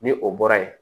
Ni o bɔra yen